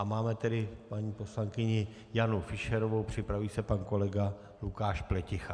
A máme tedy paní poslankyni Janu Fischerovou, připraví se pan kolega Lukáš Pleticha.